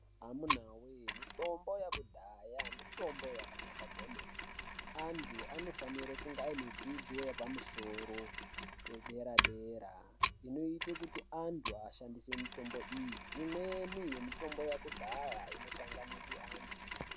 Amuna voye mitombo yakudhaya mitombo yakanaka kwemene. Antu anofanire kunge anedzidzo yepamusoro pedera-dera, inoite kuti antu ashandise mitombo iyi. Imweni yemitombo yakudhaya inokanganise antu.